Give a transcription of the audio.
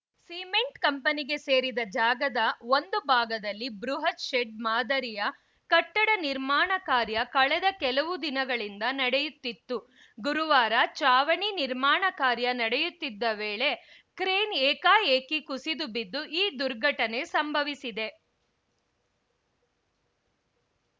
cement ಕಂಪನಿಗೆ ಸೇರಿದ ಜಾಗದ ಒಂದು ಭಾಗದಲ್ಲಿ ಬೃಹತ್‌ ಶೆಡ್‌ ಮಾದರಿಯ ಕಟ್ಟಡ ನಿರ್ಮಾಣ ಕಾರ್ಯ ಕಳೆದ ಕೆಲವು ದಿನಗಳಿಂದ ನಡೆಯುತ್ತಿತ್ತು ಗುರುವಾರ ಚಾವಣಿ ನಿರ್ಮಾಣ ಕಾರ್ಯ ನಡೆಯುತ್ತಿದ್ದ ವೇಳೆ ಕ್ರೇನ್‌ ಏಕಾಏಕಿ ಕುಸಿದು ಬಿದ್ದು ಈ ದುರ್ಘಟನೆ ಸಂಭವಿಸಿದೆ